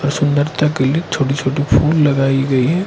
सुंदरता के लिए छोटी छोटी फूल लगाई गई है।